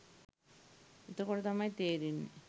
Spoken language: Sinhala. එතකොට තමයි තේරෙන්නේ